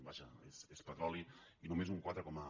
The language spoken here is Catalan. vaja és petroli i només un quatre coma